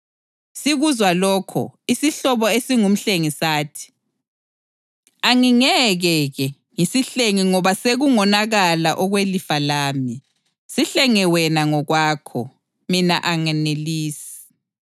Sikuzwa lokho, isihlobo esingumhlengi sathi, “Angingeke-ke ngisihlenge ngoba sekungonakala okwelifa lami. Sihlenge wena ngokwakho. Mina anganelisi.”